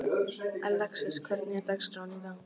Alexis, hvernig er dagskráin í dag?